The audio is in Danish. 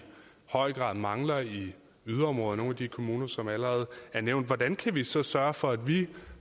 høj grad mangler i yderområderne i nogle af de kommuner som allerede er nævnt hvordan kan vi så sørge for at vi